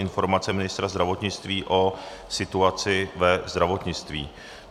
Informace ministra zdravotnictví o situaci ve zdravotnictví